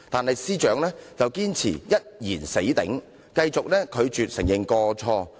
可是，司長卻堅持"一言死頂"，繼續拒絕承認過錯。